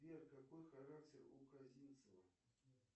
сбер какой характер у казинцева